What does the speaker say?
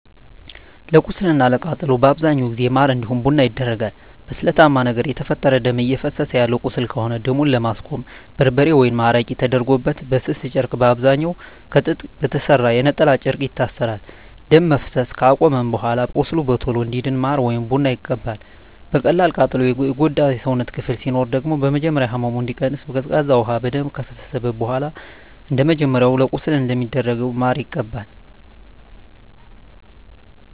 ለቁስል እና ለቃጠሎ በአብዛኛው ጊዜ ማር እንዲሁም ቡና ይደረጋል። በስለታማ ነገር የተፈጠረ ደም እፈሰሰ ያለው ቁስል ከሆነ ደሙን ለማስቆም በርበሬ ወይም አረቄ ተደርጎበት በስስ ጨርቅ በአብዛኛዉ ከጥጥ በተሰራ የነጠላ ጨርቅ ይታሰራል። ደም መፍሰስ አከቆመም በኃላ ቁስሉ በቶሎ እንዲድን ማር ወይም ቡና ይቀባል። በቀላል ቃጠሎ የጎዳ የሰውነት ክፍል ሲኖር ደግሞ በመጀመሪያ ህመሙ እንዲቀንስ ቀዝቃዛ ውሃ በደንብ ከፈሰሰበት በኃላ እንደመጀመሪያው ለቁስል እንደሚደረገው ማር ይቀባል።